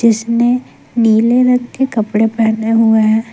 उसने नीले रंग के कपड़े पहने हुए हैं।